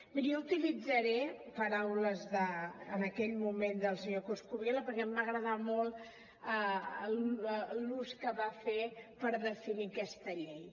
miri jo utilitzaré paraules en aquell moment del senyor coscubiela perquè em va agradar molt l’ús que en va fer per definir aquesta llei